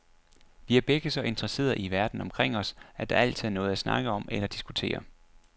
Vi er begge så interesserede i verden omkring os, at der altid er noget at snakke om eller diskutere.